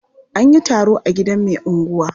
An yi taro a gidan mai unguwa.